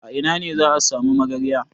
A ina ne za a sami magarya?